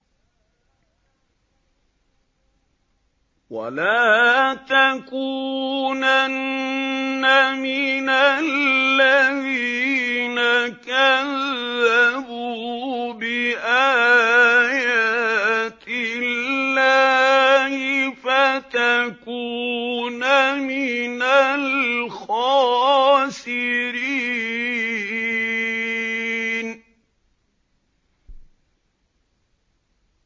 وَلَا تَكُونَنَّ مِنَ الَّذِينَ كَذَّبُوا بِآيَاتِ اللَّهِ فَتَكُونَ مِنَ الْخَاسِرِينَ